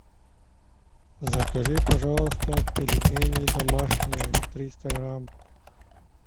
закажи пожалуйста пельмени домашние триста грамм